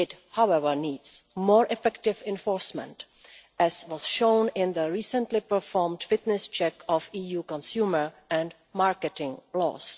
However, it needs more effective enforcement, as was shown in the recently performed fitness check of EU consumer and marketing laws.